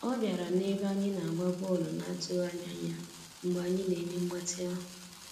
Ọ bịara n'ebe anyị na-agba bọọlụ na atụghị anya ya Mgbe anyị na-eme mgbatị ahụ.